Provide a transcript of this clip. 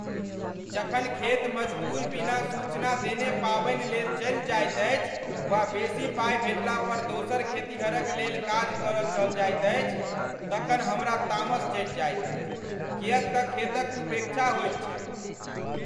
जखन खेत मजदूर बिना सूचना देने पाबनि लेल चलि जाइत अछि वा बेसी पाइ भेटला पर दोसर खेतिहर क लेल काज कर चल जाइत अछि तखन हमरा तामस चढ़ि जायत अछि किएक तऽ खेतक उपेक्षा होइत छैक ।